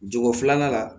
Jogo filanan la